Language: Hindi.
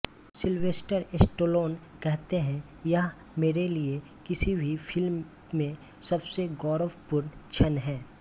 सिलवेस्टर स्टेलोन कहते हैं यह मेरे लिए किसी भी फिल्म में सबसे गौरवपूर्ण क्षण है